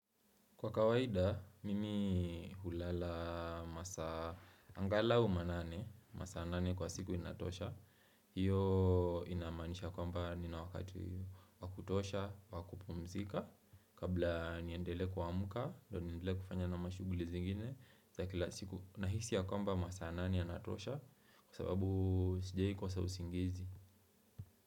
Kwa kawaida, mimi hulala masaa angalau manane, masaa nane kwa siku inatosha. Hiyo inaamanisha kwamba nina wakati wa kutosha, wa kupumzika. Kabla niendelee kuamka, ndio niendele kufanya na mashuguli zingine, za kila siku nahisi ya kwamba masaa nane yanatosha kwa sababu sijawahi kosa usingizi.